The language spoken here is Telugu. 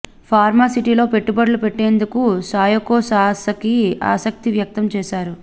ఫార్మా సిటీ లో పెట్టుబడులు పెట్టేందుకు సాయోకొ సాసకి ఆసక్తి వ్యక్తం చేశారు